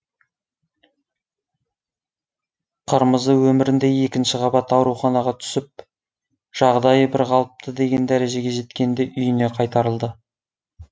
қырмызы өмірінде екінші қабат ауруханаға түсіп жағдайы бір қалыпты деген дәрежеге жеткенде үйіне қайтарылды